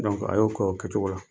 a y'o kɛ o kɛcogo la.